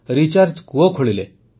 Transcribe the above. recharge କୂଅ ଖୋଳିଲେ